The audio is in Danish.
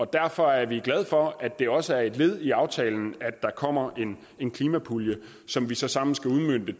derfor er vi glade for at det også er et led i aftalen at der kommer en en klimapulje som vi så sammen skal udmønte